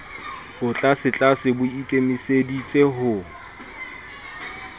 bo tlasetlase bo ikemiseditse ho